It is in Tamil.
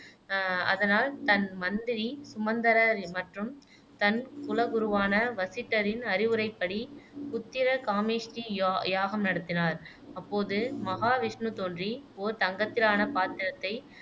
அஹ் அதனால் தன் மந்திரி சுமந்தரர் மற்றும் தன் குலகுருவான வசிட்டரின் அறிவுரைப்படி புத்திரகாமேஷ்டி யா யாகம் நடத்தினார் அப்போது மகாவிஷ்ணு தோன்றி ஓர் தங்கத்திலான பாத்திரத்தை